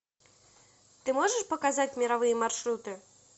ты можешь показать мировые маршруты